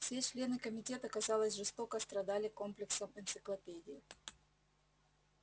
все члены комитета казалось жестоко страдали комплексом энциклопедии